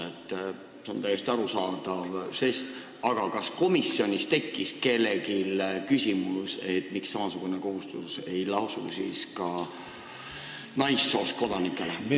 See on täiesti arusaadav žest, aga kas komisjonis tekkis kellelgi küsimus, miks ei lasu samasugune kohustus ka naissoost kodanikel?